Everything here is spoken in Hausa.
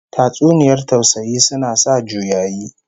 Tatsuniyar tausayi suna sa juyayi